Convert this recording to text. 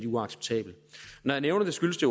uacceptabel når jeg nævner det skyldes det